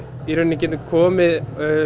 getum komið